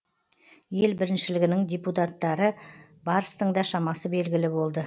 ел біріншілігінің дебютанттары барстың да шамасы белгілі болды